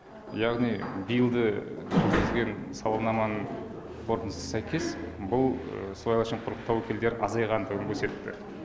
яғни биыл да жүргізген сауалнаманың қорытындысына сәйкес бұл сыбайлас жемқорлықтың тәуекелдері азайғандығын көрсетті